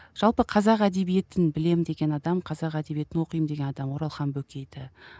жалпы қазақ әдебиетін білемін деген адам қазақ әдебиетін оқимын деген адам оралхан бөкейді